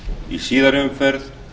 í síðari umferð